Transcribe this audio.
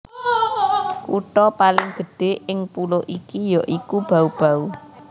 Kutha paling gedhé ing pulo iki ya iku Bau Bau